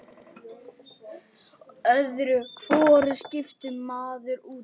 Öðru hvoru skiptir maður út.